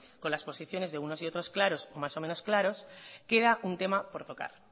con las posiciones de unos y otros claras o más o menos claras queda un tema por tocar